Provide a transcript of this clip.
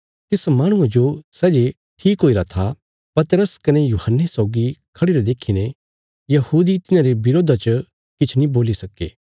तिस माहणुये जो सै जे ठीक हुईरा था पतरस कने यूहन्ने सौगी खढ़िरे देखीने यहूदी तिन्हांरे विरोधा च किछ नीं बोल्ली सक्के